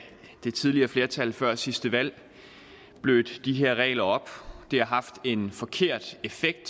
det tidligere flertal før sidste valg blødte de her regler op det har haft en forkert effekt